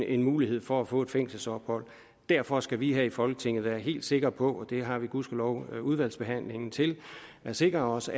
en mulighed for at få et fængselsophold derfor skal vi her i folketinget være helt sikre på og det har vi gudskelov udvalgsbehandlingen til at sikre os